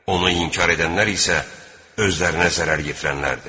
Onu inkar edənlər isə özlərinə zərər yetirənlərdir.